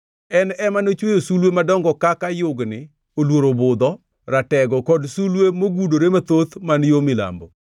En ema nochweyo sulwe madongo kaka, yugni, oluoro-budho, ratego, kod sulwe mogudore mathoth man yo milambo.